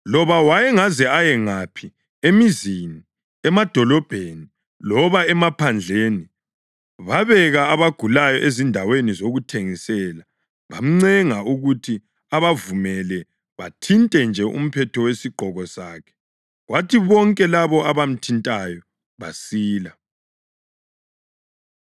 Loba wayengaze aye ngaphi, emizini, emadolobheni loba emaphandleni, babeka abagulayo ezindaweni zokuthengisela. Bamncenga ukuthi abavumele bathinte nje umphetho wesigqoko sakhe, kwathi bonke labo abamthintayo basila.